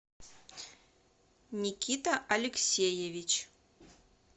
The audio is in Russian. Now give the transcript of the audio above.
никита алексеевич